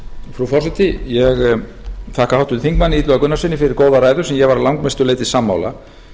frú forseti ég þakka háttvirtum þingmanni illuga gunnarssyni fyrir góða ræðu sem ég var að langmestu leyti sammála